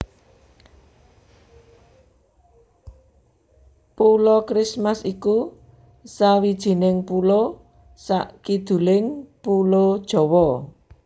Pulo Christmas iku sawijining pulo sakiduling Pulo Jawa